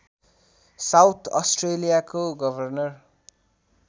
south अस्ट्रेलियाको governor